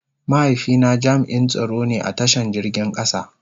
Mahaifi na jami'n tsaro ne a ta shan jirgin kasa.